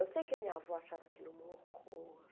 Eu sei que a minha avó achava aquilo um horror.